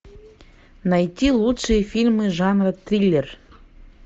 найти лучшие фильмы жанра триллер